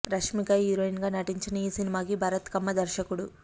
Rashmika heroine గా నటించిన ఈ సినిమాకి భరత్ కమ్మ దర్శకుడు